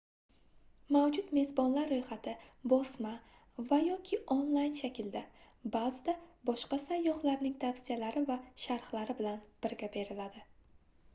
mavjud mezbonlar ro'yxati bosma va/yoki onlayn shaklda ba'zida boshqa sayyohlarning tavsiyalari va sharhlari bilan birga beriladi